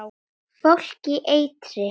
Fólk í eitri